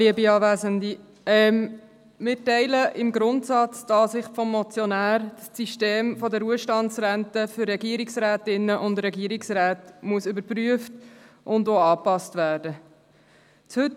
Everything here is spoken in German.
Wir teilen die Ansicht des Motionärs im Grundsatz, wonach das System der Ruhestandsrenten für Regierungsrätinnen und Regierungsräte überprüft und angepasst werden muss.